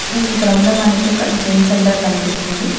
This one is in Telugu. ఈ సిత్రంలో మనకి ఒక జిమ్ సెంటర్ కనిపిస్తుంది.